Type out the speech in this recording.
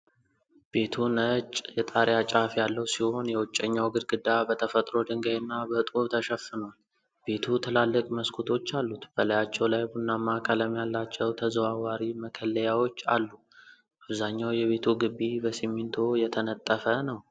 ቤቱ ነጭ የጣሪያ ጫፍ ያለው ሲሆን፣ የውጨኛው ግድግዳ በተፈጥሮ ድንጋይና በጡብ ተሸፍኗል። ቤቱ ትላልቅ መስኮቶች አሉት፣ በላያቸው ላይ ቡናማ ቀለም ያላቸው ተዘዋዋሪ መከለያዎች አሉ። አብዛኛው የቤቱ ግቢ በሲሚንቶ የተነጠፈ ነው።